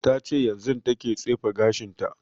Ta ce yanzun ta ke tsefe gashin ta